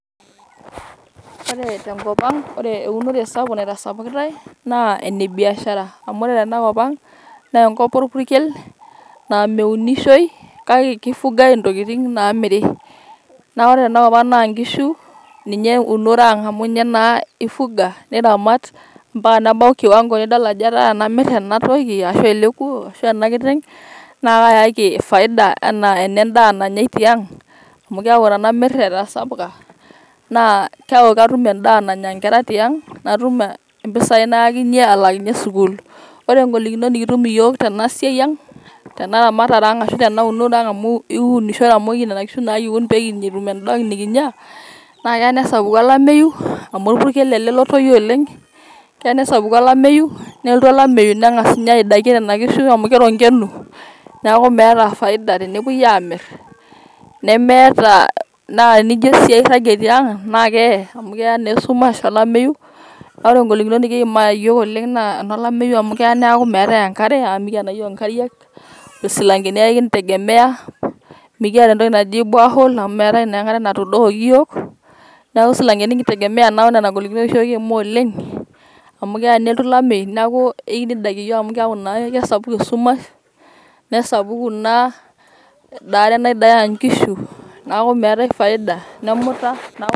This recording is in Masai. Ore tenkopang naa ore eunore sapuk naitasapukitae naa ene biashara. amu ore tena kop ang naa enkop orpukel naa meunishoi kake kifugae intokitin namiri . naa ore tena kop ang naa nkishu ninye eunore ang amu inye ifuga ,niramat ambaka nebau kiwango nidol ajo etaa tenamir ena toki ashu ele kuo ashwaa ena kiteng naa kayaki faida anaa ene n`daa nanyai tiang amu keaku tenmir etasapuka naa keaku katum endaa nanya inkera tiang ,natum mpisai natum alaakinye sukuul. ore ngolikinot nikitum iyiook tena siai ang ,tenaramatare ang ashu tenaunore ang amu inkinishore amu nena kishu kiun pekitum entoki nikinya naa keya nesapuku olameyu amu orpukel ele lotoyio oleng . keya nesapuku olameyu nelotu olameyu nengas ninye aidakie nena kishu.